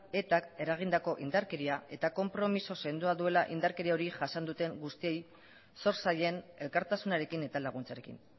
etak eragindako indarkeria eta konpromiso sendoa duela indarkeria hori jasan duten guztiei zor zaien elkartasunarekin eta laguntzarekin